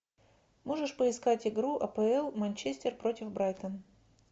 можешь поискать игру апл манчестер против брайтон